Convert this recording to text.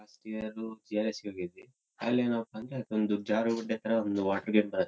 Last year G R S ಹೋಗಿದ್ವಿ. ಅಲ್ಲೆನಪ್ಪಾ ಅಂದ್ರೆ ಒಂದು ಜಾರುಬಂಡೆ ತರ ಒಂದು ವಾಟರ್ ಗೇಟ್ ಬರು --.